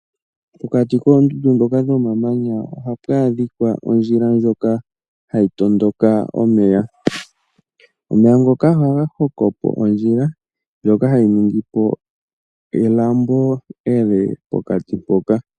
Pokati koondundu dhoka dhomamanya oha pwadhika ondjila ndjoka hayi tondoka omeya ,omeya ngoka oha ga hokopo ondjila ndjoka hayi ningipo elambo ele pokati mpoka.